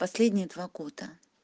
последние два года